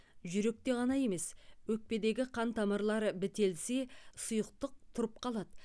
жүректе ғана емес өкпедегі қан тамырлары бітелсе сұйықтық тұрып қалады